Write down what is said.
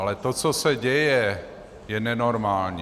Ale to, co se děje, je nenormální.